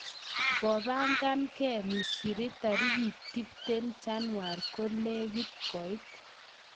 Ngobagan gee misri tarikit tiptem januar kolekit koit.